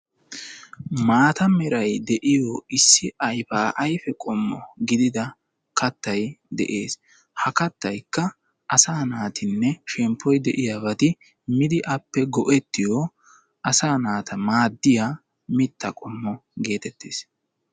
Maata meray de'iyo issi ayfa-ayfe qommo gidida kattay de'ees. Ha kattaykka asa naatinne shemppoy de'iyoobati miidi appe maaddetiyo asa naata go"iya mitta qommo getettees.